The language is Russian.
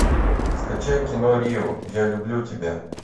скачай кино рио я люблю тебя